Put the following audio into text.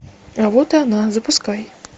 а вот и она запускай